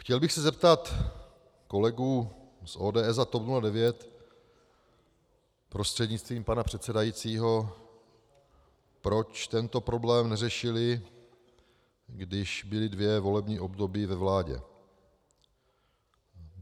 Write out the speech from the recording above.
Chtěl bych se zeptat kolegů z ODS a TOP 09 prostřednictvím pana předsedajícího, proč tento problém neřešili, když byli dvě volební období ve vládě.